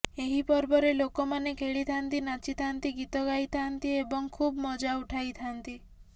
ଏହି ପର୍ବରେ ଲୋକମାନେ ଖେଳିଥାନ୍ତି ନାଚିଥାନ୍ତି ଗୀତ ଗାଇଥାନ୍ତି ଏବଂ ଖୁବ ମଜା ଉଠାଇଥାନ୍ତି